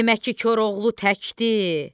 Demək ki, Koroğlu tək deyil,